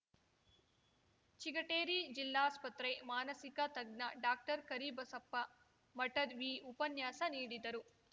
ಚಿಗಟೇರಿ ಜಿಲ್ಲಾಸ್ಪತ್ರೆ ಮಾನಸಿಕ ತಜ್ಞ ಡಾಕ್ಟರ್ಕರಿಬಸಪ್ಪ ಮಠದ್‌ ವಿ ಉಪನ್ಯಾಸ ನೀಡಿದರು